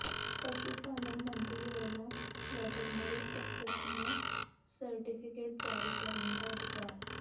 ਪਸ਼ੂ ਪਾਲਣ ਮੰਤਰੀ ਵੱਲੋਂ ਵੈਟਰਨਰੀ ਅਫ਼ਸਰਾਂ ਨੂੰ ਸਰਟੀਫ਼ਿਕੇਟ ਜਾਰੀ ਕਰਨ ਦਾ ਅਧਿਕਾਰ